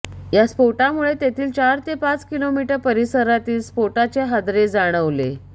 या स्फोटामुळे तेथील चार ते पाच किमी परिसरातील स्फोटाचे हादरे जाणवले